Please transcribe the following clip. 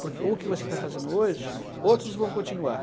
Porque o que você está fazendo hoje, outros vão continuar.